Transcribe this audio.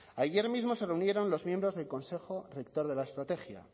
ayer mismo se reunieron los miembros del consejo rector de la estrategia